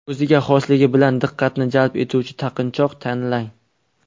O‘ziga xosligi bilan diqqatni jalb etuvchi taqinchoq tanlang.